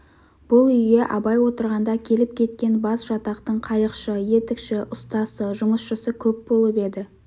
бұл үйге абай отырғанда келіп-кеткен басжатақтың қайықшы етікші ұстасы жұмысшысы көп болып еді